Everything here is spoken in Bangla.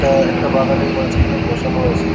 এটা-আ একটা বাগানের মাঝখানে বসানো আছে।